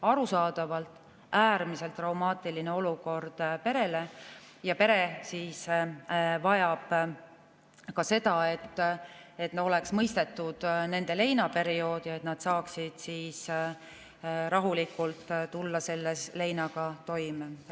Arusaadavalt on see äärmiselt traumaatiline olukord perele ja pere vajab ka seda, et mõistetaks nende leinaperioodi ja nad saaksid rahulikult leinaga toime tulla.